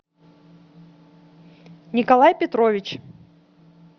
николай петрович